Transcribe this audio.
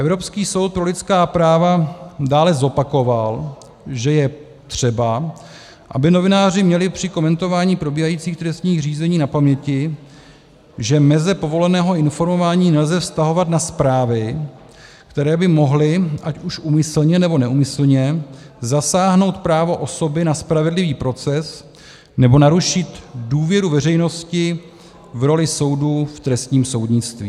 Evropský soud pro lidská práva dále zopakoval, že je třeba, aby novináři měli při komentování probíhajících trestních řízení na paměti, že meze povoleného informování nelze vztahovat na zprávy, které by mohly, ať už úmyslně, nebo neúmyslně, zasáhnout právo osoby na spravedlivý proces nebo narušit důvěru veřejnosti v roli soudů v trestním soudnictví.